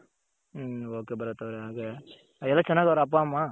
ಹ್ಮ್ okay Bharat ಅವ್ರೆ ಹಾಗೆ ಎಲ್ಲ ಚೆನ್ನಾಗ್ ಅವ್ರ ಅಪ್ಪ ಅಮ್ಮ.